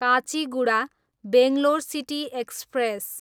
Kacheguda, Bangalore city express